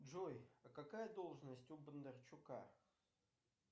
джой а какая должность у бондарчука